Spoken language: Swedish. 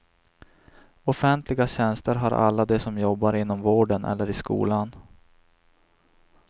Offentliga tjänster har alla de som jobbar inom vården eller i skolan.